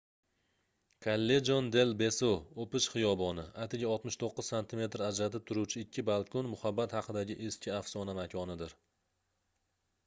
callejon del beso o'pish hiyoboni. atigi 69 santimetr ajratib turuvchi ikki balkon muhabbat haqidagi eski afsona makonidir